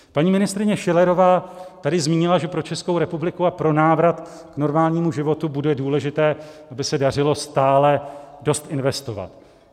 Paní ministryně Schillerová tady zmínila, že pro Českou republiku a pro návrat k normálnímu životu bude důležité, aby se dařilo stále dost investovat.